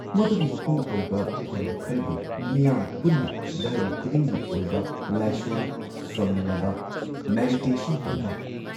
ꯃꯗꯨꯒꯤ ꯃꯄꯨꯡꯑꯣꯏꯕ ꯊꯧꯔꯝ ꯈꯔꯗꯤ ꯃꯤꯌꯥꯝ ꯄꯨꯟꯅ ꯙꯔꯃ ꯈꯨꯗꯤꯡꯒꯤ ꯑꯣꯏꯕ ꯂꯥꯢꯁꯣꯟ ꯁꯣꯟꯃꯤꯟꯅꯕ, ꯃꯦꯗꯤꯇꯦꯁꯟ ꯇꯧꯕ,